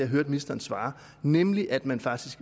hørte ministeren svare nemlig at man faktisk